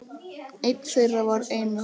Einn þeirra var Einar